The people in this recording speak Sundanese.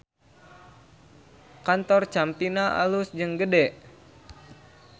Kantor Campina alus jeung gede